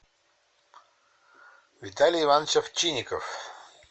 виталий иванович овчинников